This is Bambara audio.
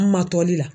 An ma toli la